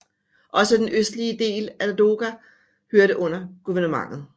Også den østlige del af Ladoga hørte under guvernementet